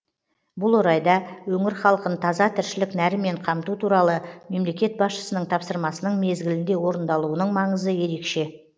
бұл орайда өңір халқын таза тіршілік нәрімен қамту туралы мемлекет басшысының тапсырмасының мезгілінде орындалуының маңызы ерекше